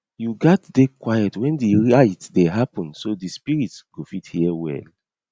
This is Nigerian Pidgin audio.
you gats dey quiet when di rite dey happen so di spirits got fit hear well